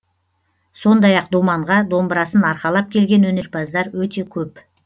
сондай ақ думанға домбырасын арқалап келген өнерпаздар өте көп